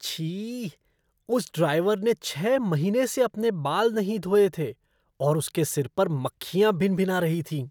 छी! उस ड्राइवर ने छह महीने से अपने बाल नहीं धोए थे और उसके सिर पर मक्खियाँ भिनभिना रही थीं।